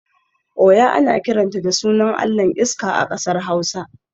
Oya ana kiranta da sunan allahn iska a kasar hausa